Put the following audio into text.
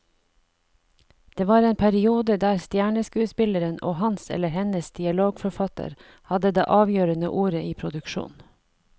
Det var en periode der stjerneskuespilleren og hans eller hennes dialogforfatter hadde det avgjørende ordet i produksjonen.